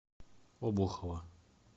обухова